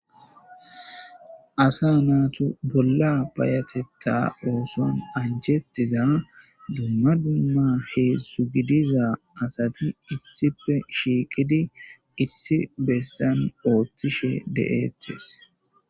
Asa natu bola fayateta osuan anjetiza dumma dumma heedzdzu gidiza asati issippe shiiqidi issi besan otishe de'ates.